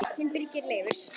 Þinn Birgir Leifur.